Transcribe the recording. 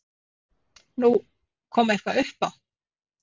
Nú, kom eitthvað upp á?